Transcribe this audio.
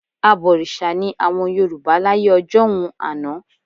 Abọ̀rìṣà ni àwọn Yorùbá láyé ọjọ́un àná